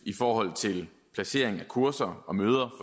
i forhold til placering af kurser og møder